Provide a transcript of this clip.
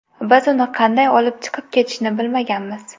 Biz uni qanday olib chiqib ketishni bilmaganmiz.